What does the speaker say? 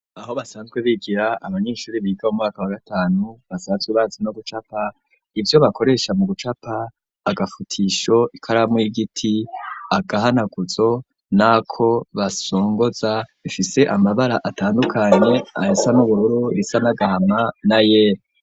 Aho basanzwe bigira abanyeshuri biga mu mwaka wagatanu ,basanzwe bazi no gucapa, ivyo bakoresha mu gucapa, Agafutisho ,Ikaramu, Igiti ,Agahanaguzo ,n'ako basongoza, ifise Amabara atandukanye ayasa n'ubururu, risa nagahama, na yera.